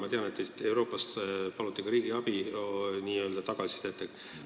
Ma tean, et Euroopast paluti ka n-ö tagasisidet riigiabi kohta.